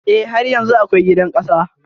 E, har yanzu akwai gidan ƙasa.